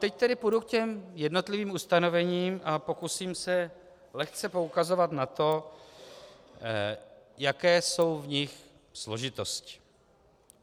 Teď tedy půjdu k těm jednotlivým ustanovením a pokusím se lehce poukazovat na to, jaké jsou v nich složitosti.